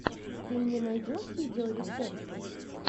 ты мне найдешь видеорецепты